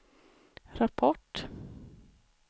rapport